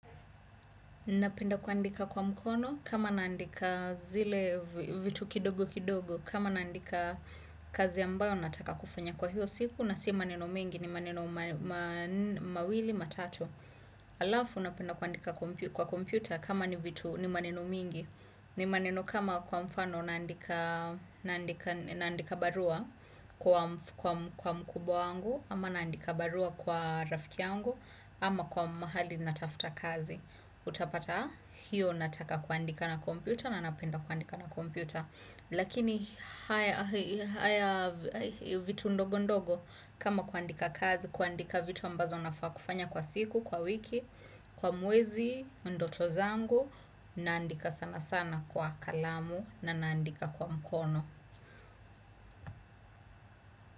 Napenda kuandika kwa mkono, kama naandika zile vitu kidogo kidogo, kama naandika kazi ambayo nataka kufanya kwa hiyo siku, nasi maneno mengi ni maneno mawili, matatu. Alafu napenda kuandika kwa kompyuta kama ni vitu ni maneno mingi, ni maneno kama kwa mfano naandika barua kwa mkubwa wangu, ama naandika barua kwa rafiki yangu ama kwa mahali natafuta kazi. Utapata hiyo nataka kuandika na kompyuta. Na napenda kuandika na kompyuta. Lakini haya vitu ndogo ndogo. Kama kuandika kazi kuandika vitu ambazo nafaa kufanya kwa siku, kwa wiki kwa mwezi, ndoto zangu. Naandika sana sana kwa kalamu. Na naandika kwa mkono.